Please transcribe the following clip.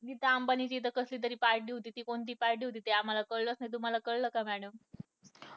नीता अंबानी च्या इथे कसली तरी party होती ती कोणती पार्टी होती ते आम्हाला कळच नाही तुम्हाला कळलं का madam